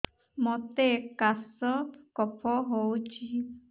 ମୋତେ କାଶ କଫ ହଉଚି